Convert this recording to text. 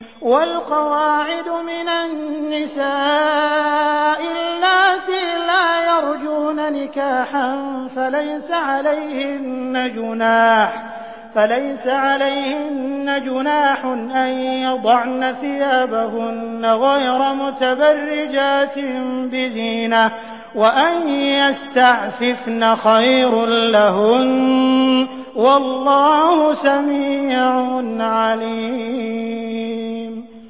وَالْقَوَاعِدُ مِنَ النِّسَاءِ اللَّاتِي لَا يَرْجُونَ نِكَاحًا فَلَيْسَ عَلَيْهِنَّ جُنَاحٌ أَن يَضَعْنَ ثِيَابَهُنَّ غَيْرَ مُتَبَرِّجَاتٍ بِزِينَةٍ ۖ وَأَن يَسْتَعْفِفْنَ خَيْرٌ لَّهُنَّ ۗ وَاللَّهُ سَمِيعٌ عَلِيمٌ